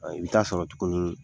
i bɛ taa sɔrɔ tuguni